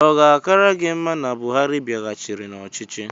Ọ ga-akara gị mma na Buhari bịaghachịrị n'ọchịchị?